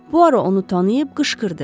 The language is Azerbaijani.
Puaro onu tanıyıb qışqırdı.